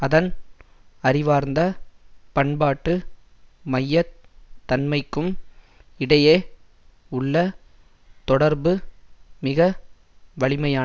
அதன் அறிவார்ந்த பண்பாட்டு மைய தன்மைக்கும் இடையே உள்ள தொடர்பு மிக வலிமையானது